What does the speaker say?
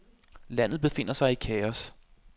Landet befinder sig i kaos.